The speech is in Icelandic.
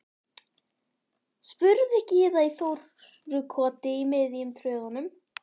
spurði Gyða í Þórukoti í miðjum tröðunum.